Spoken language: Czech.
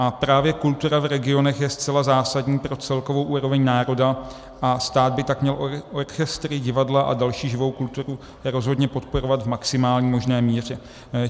A právě kultura v regionech je zcela zásadní pro celkovou úroveň národa a stát by tak měl orchestry, divadla a další živou kulturu rozhodně podporovat v maximální možné míře.